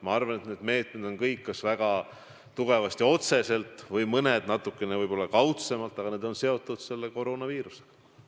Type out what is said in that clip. Ma arvan, et need meetmed on kõik – mõned väga otseselt ja mõned natukene kaudsemalt – seotud koroonaviirusega.